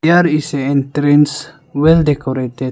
There is a entrance well decorated.